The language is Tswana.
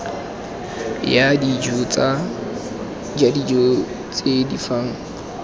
ja dijo tse di fang